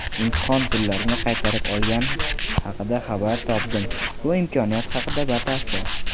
imtihon pullarini qaytarib olgani haqida xabar topdim (bu imkoniyat haqida batafsil).